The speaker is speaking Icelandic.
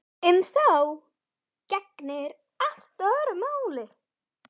Um þá gegnir allt öðru máli.